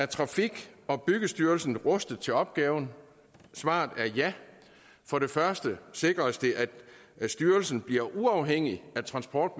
trafik og byggestyrelsen rustet til opgaven svaret er ja for det første sikres det at styrelsen bliver uafhængig af transport